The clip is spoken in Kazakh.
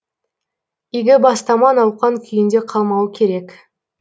игі бастама науқан күйінде қалмауы керек